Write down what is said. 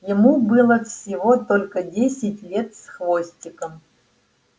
ему было всего только десять лет с хвостиком